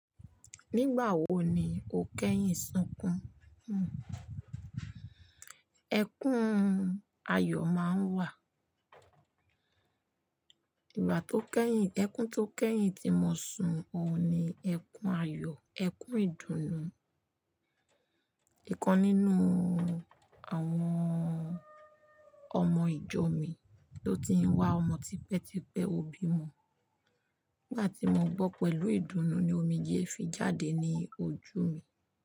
Nígbà wo ni o kẹ́yìn sunkún? Ẹkún ayọ̀ máa ń wà. Ìgbà tó kẹ́yìn, ẹkún tó kẹ́yìn tí mo sun ọ ní ẹkún ayọ̀, ẹkún ìdùnnú. Ìkan nínú àwọn ọmọ ìjọ mi tó ti ń wá ọmọ tipẹ́tipẹ́ ó bímọ. Nígbà tí mo gbọ́ pẹ̀lú ìdùnnú ni omijé fi jáde ní ojú mi.